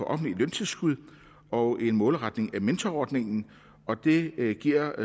offentligt løntilskud og en målretning af mentorordningen og det giver